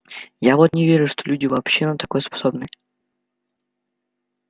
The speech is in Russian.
я вот не верю что люди вообще на такое способны